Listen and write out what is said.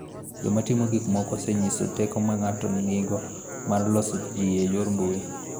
Joma timo gik moko osenyiso teko ma ng�ato nigo mar loso ji e yor mbui.